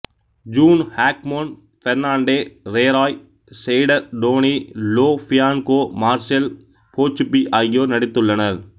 gene Hackman Fernando Rey Roy Scheider Tony Lo Bianco Marcel Bozzuffi ஆகியோர் நடித்துள்ளனர்